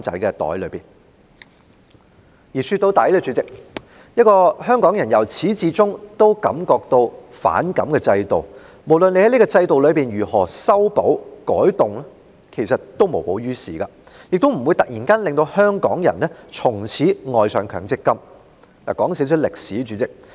主席，說到底，香港人由始至終都對強積金制度感到不滿，無論政府如何修補和改動，其實也無補於事，亦不會突然間令香港人從此愛上強積金計劃。